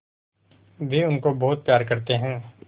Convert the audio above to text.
वे उनको बहुत प्यार करते हैं